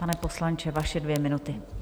Pane poslanče, vaše dvě minuty.